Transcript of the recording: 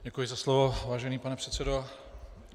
Děkuji za slovo, vážený pane předsedo.